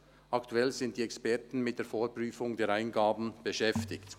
Aktuell sind die Experten mit der Vorprüfung der Eingaben beschäftigt.